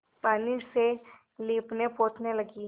पानी से लीपनेपोतने लगी